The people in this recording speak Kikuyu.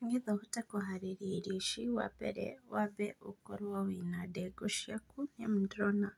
Nĩgetha ũhote kũharĩria irio ici, wa mbere, ũkorwo wĩ na ndengũ ciaku nĩamu nĩndĩrona